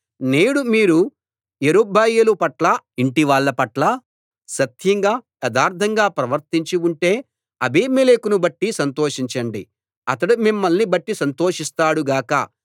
నేడు మీరు యెరుబ్బయలు పట్ల అతని యింటివాళ్ళ పట్ల సత్యంగా యథార్ధంగా ప్రవర్తించి ఉంటే అబీమెలెకును బట్టి సంతోషించండి అతడు మిమ్మల్ని బట్టి సంతోషిస్తాడు గాక